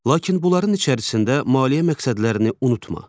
Lakin bunların içərisində maliyyə məqsədlərini unutma.